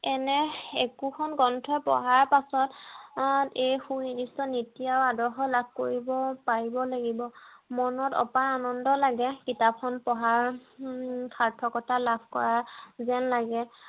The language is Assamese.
এনে একোখন গ্ৰন্থ পঢ়া পাছত এই সুনিৰ্দিষ্ট নীতি আৰু আদৰ্শ লাভ কৰিব পাৰিব লাগিব। মনত অপাৰ আনন্দ লাগে কিতাপ খন পঢ়াৰ সাৰ্থকতা লাভ কৰা যেন লাগে